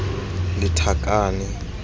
lethakane